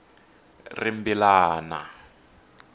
rimbilana